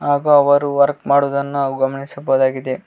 ಹಾಗೂ ಅವರು ವರ್ಕ್ ಮಾಡುವುದನ್ನು ನಾವು ಗಮನಿಸಬಹುದಾಗಿದೆ.